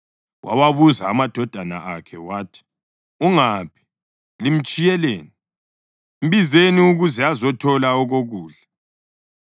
Wawabuza amadodakazi akhe wathi, “Ungaphi? Limtshiyeleni? Mbizeni ukuze azothola okokudla.”